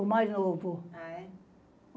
O mais novo. a é?